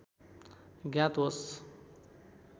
ज्ञात होस्